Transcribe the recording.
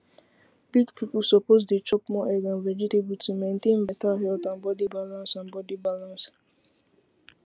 big people suppose dey chop more egg and vegetable to maintain better health and body balance and body balance